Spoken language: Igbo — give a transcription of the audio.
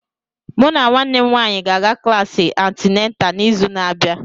Mụ na nwanne m nwanyị ga-aga klasi antịnátà n'izu na-abịa